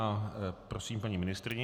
A prosím paní ministryni.